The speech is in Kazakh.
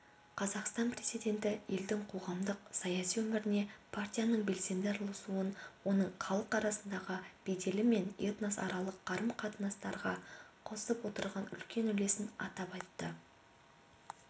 қазақстан президенті елдің қоғамдық-саяси өміріне партияның белсенді араласуын оның халық арасындағы беделі мен этносаралық қарым-қатынастарға қосып отырған үлкен үлесін атап айтты